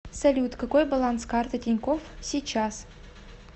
салют какой баланс карты тинькофф сейчас